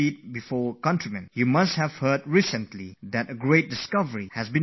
You must have heard recently there has been a major and important discovery in the world of science